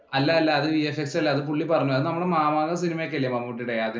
അല്ലല്ല അത് VSX അല്ല. പുള്ളി പറഞ്ഞു. നമ്മുടെ മാമാങ്കം സിനിമയൊക്കെയില്ലേ മമ്മൂട്ടിയുടെ. അതിന്റെ